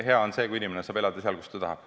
Hea on see, kui inimene saab elada seal, kus ta tahab.